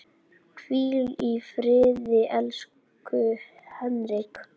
Hvíl í friði, elsku Henrik.